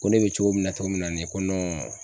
Ko ne bɛ cogo min na cogo min na nin ye ko